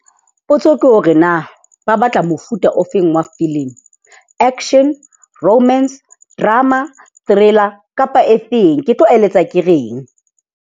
Potso ke hore na ba batla mofuta ofeng wa filimi. Action, romance, drama, thriller kapa efeng. Ke tlo eletsa ke reng?